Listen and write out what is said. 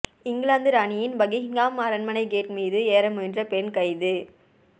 இங்கிலாந்து ராணியின் பக்கிங்ஹாம் அரண்மனை கேட் மீது ஏற முயன்ற பெண் கைது